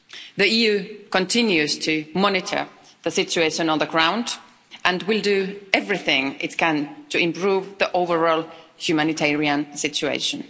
The EU continues to monitor the situation on the ground and will do everything it can to improve the overall humanitarian situation.